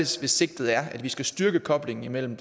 sigtet er at vi skal styrke koblingen imellem